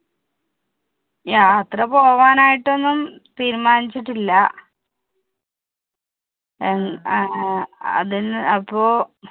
യാത്ര പോകാൻ ആയിട്ട് ഒന്നും തീരുമാനിച്ചിട്ടില്ല അഹ് ഏർ അതിന് അപ്പൊ